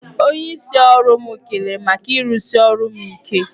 Onyeisi ọrụ m kelere m maka irusi ọrụ ike m.